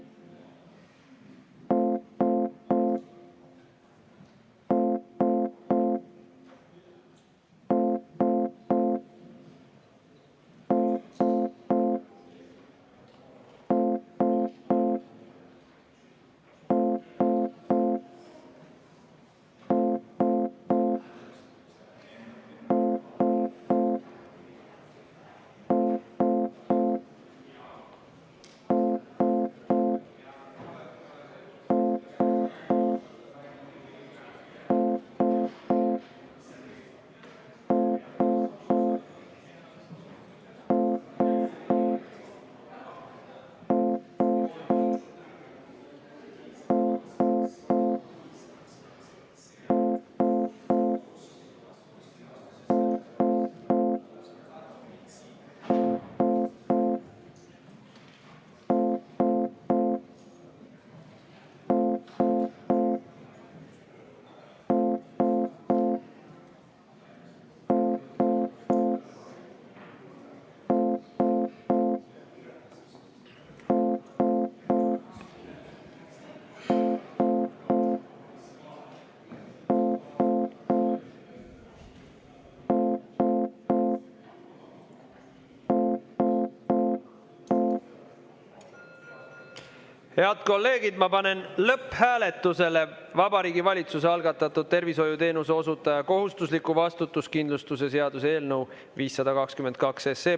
Head kolleegid, panen lõpphääletusele Vabariigi Valitsuse algatatud tervishoiuteenuse osutaja kohustusliku vastutuskindlustuse seaduse eelnõu 522.